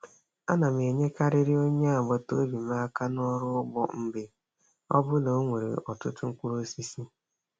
Ana m enyekarịrị onye agbataobi m aka n'ọrụ ụgbọ mgbe ọbụla o nwere ọtụtụ mkpụrụ osisi.